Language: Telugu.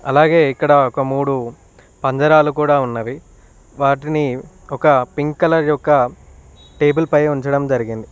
అలాగే ఇక్కడ ఒక మూడు పంజరాలు కూడా ఉన్నవి వాటిని ఒక పింక్ కలర్ యొక్క టేబుల్ పై ఉంచడం జరిగింది.